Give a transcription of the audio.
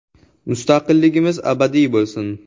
Mustaqilligimiz abadiy bo‘lsin!